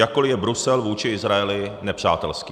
Jakkoli je Brusel vůči Izraeli nepřátelský.